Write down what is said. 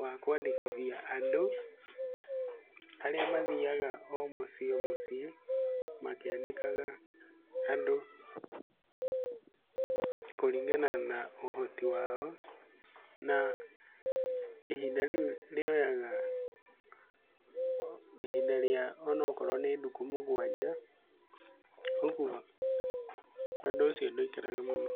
wa kũandĩkithia andũ, arĩa mathiaga o muciĩ o mũciĩ makĩandĩkaga andũ kũringana na ũhoti wao na ihinda rĩu rĩoyaga ihinda rĩa onokorwo nĩ ndukũ mũgwanja, ũguo ũndũ ũcio ndũikaraga mũno.